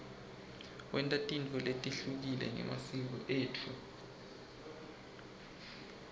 senta tintfo letehlukile ngemasiko etfu